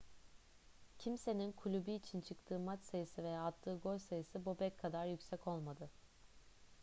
kimsenin kulübü için çıktığı maç sayısı veya attığı gol sayısı bobek kadar yüksek olmadı